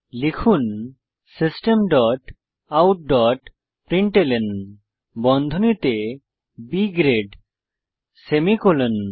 লিখুন system dot out dot println বন্ধনীতে B grade semicolon